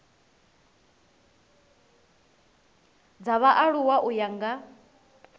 dza vhaaluwa u ya nga